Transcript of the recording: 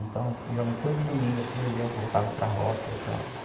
Então, geralmente, todo domingo assim, eu ia e voltava para a roça ia para.